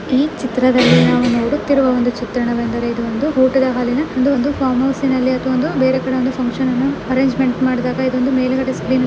ಈ ಚಿತ್ರದಲ್ಲಿ ನಾವು ನೋಡುತ್ತಿರುವ ಒಂದು ಚಿತ್ರಣವೆಂದಾರೆ ಇದು ಒಂದು ಊಟದ ಹಾಲಿನ ಒಂದು ಒಂದು ಫಾರ್ಮ್ ಹೌಸಿನಲ್ಲಿ ಅಥವಾ ಒಂದು ಬೇರೆಕಡೆ ಒಂದು ಫಂಕ್ಷನ್ ಅರೇಂಜ್ಮೆಂಟ್ ಮಾಡಿದಾಗ ಇದೊಂದು ಮೇಲೆಗಡೆ ಸ್ಕ್ರೀನ್ --